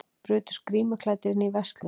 Brutust grímuklæddir inn í verslun